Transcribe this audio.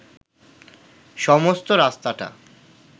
সমস্ত রাস্তাটা